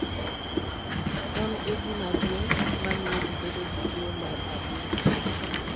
En egima duong' mamiyo ji bedo gi tuo mar adundo.